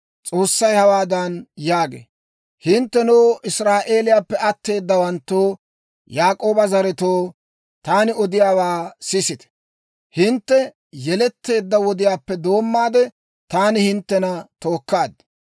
S'oossay hawaadan yaagee; «Hinttenoo, Israa'eeliyaappe atteedawanttoo, Yaak'ooba zaretoo, taani odiyaawaa sisite; hintte yeletteedda wodiyaappe doommaade taani hinttena tookkaad.